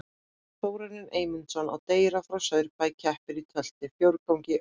Þórarinn Eymundsson á Dreyra frá Saurbæ keppir í tölti, fjórgangi og fimi.